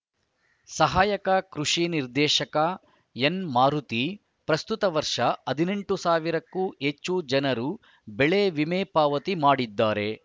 ಸಹಾಯಕ ಕೃಷಿ ನಿರ್ದೇಶಕ ಎನ್‌ ಮಾರುತಿ ಪ್ರಸ್ತುತ ವರ್ಷ ಹದಿನೆಂಟು ಸಾವಿರಕ್ಕೂ ಹೆಚ್ಚು ಜನರು ಬೆಳೆ ವಿಮೆ ಪಾವತಿ ಮಾಡಿದ್ದಾರೆ